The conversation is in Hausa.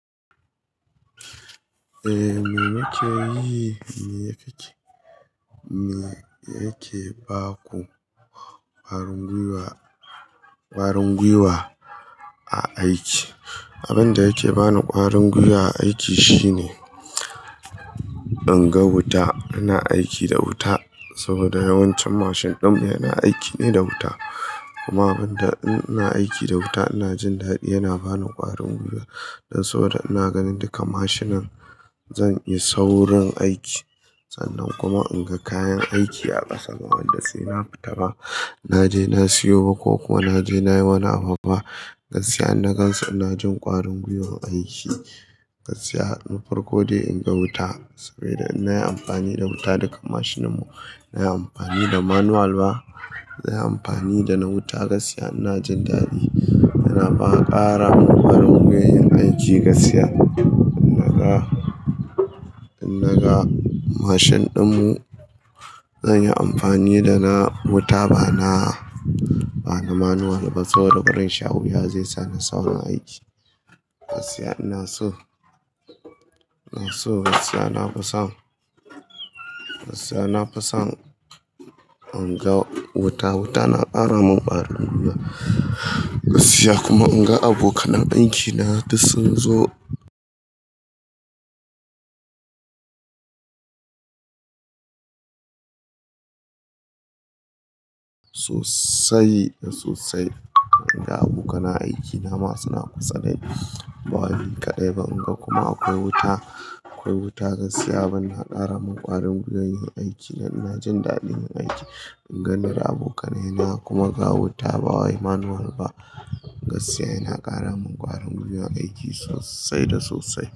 Eh me yake yi, me yake ke, me yake ba ku ƙwarin gwiwa, ƙwarin gwiwa a aiki. Abin da yake bani ƙwarin gwiwa a aiki shine in ga wuta, ina aiki da wuta saboda yawancin mashin ɗin mu yana aiki ne da wuta. Kuma abin da in ina aiki da wuta ina jin dadi yana bani ƙwarin gwiwa. Dan saboda ina ganin duka mashinan zan yi saurin aiki. Sannan kuma in ga kayan aiki a ƙasa da wanda sai na fita ba, na je na siyo ba ko kuwa na je na yi wani abba gaskiya in na gansu ina jin ƙwarin gwiwar aiki gaskiya. Na farko dai in ga wuta saboda ina amfani da wuta duka mashinan mu. Na yi amfani da manual ba, na yi amfani da na wuta gaskiya ina jin dadi yana bana ƙara ƙwarin gwiwar yin aiki gaskiya. In naga, in naga mashin ɗin mu zan yi amfani da na wuta bana, bana manual ba saboda barin sha wuya zaisa ni saurin aiki gaskiya. Ina so, ina so gaskiya na fison, gaskiya na fison in ga wuta. Wuta na ƙara mun ƙwarin gwiwa gaskiya kuma in ga abokan aiki na duk sun zo. Sosai, sosai in ga abokanan aiki na masu na kusa dai, bawawi kaɗai ban ga kuma akwai wuta, akwai wuta gaskiya bana ƙara mun ƙwarin gwiwar yin aiki. Ina jin dadin yin aiki in ganin abokanai na kuma ga wuta ba wai manual ba gaskiya yana ƙara mun ƙwarin gwiwar aiki sosai da sosai.